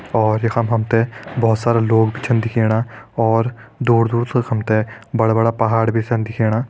और यखम हम ते बहोत सारा लोग भी छन दिखेणा और दूर दूर तक हम ते बड़ा बड़ा भी छन दिखेणा।